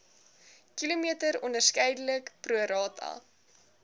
km onderskeidelik prorata